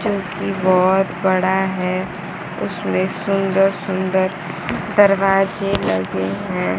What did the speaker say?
जो कि बोहोत बड़ा है उसमें सुंदर सुन्दर दरवाजे लगे हैं।